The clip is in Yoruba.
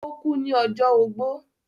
ó kú ní ọjọ́ ogbó.